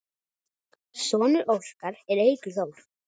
Sonur Óskars er Eiríkur Þór.